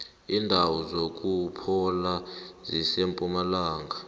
indawo zokuphola zisempumalanga